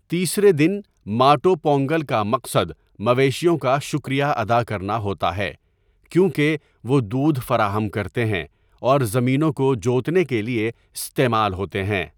تیسرے دن، ماٹو پونگل کا مقصد مویشیوں کا شکریہ ادا کرنا ہوتا ہے، کیونکہ وہ دودھ فراہم کرتے ہیں اور زمینوں کو جوتنے کے لیے استعمال ہوتے ہیں۔